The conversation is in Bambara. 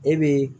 E bi